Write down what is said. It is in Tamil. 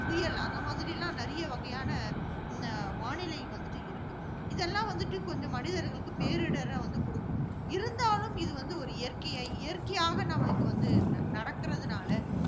புயல், அந்த மாதிரிலாம் நிறைய வகையான, அஹ் வானிலை வந்துட்டு இருக்கு. இதெல்லாம் வந்துட்டு, கொஞ்சம் மனிதர்களுக்கு பேரிடரை வந்து கொடுக்கும். இருந்தாலும் இது வந்து ஒரு இயற்கை~ இயற்கையாக நம்மளுக்கு வந்து நடக்கிறதனால